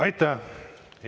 Aitäh!